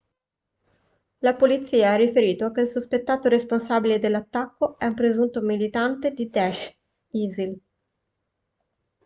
la polizia ha riferito che il sospettato responsabile dell'attacco è un presunto militante di daesh isil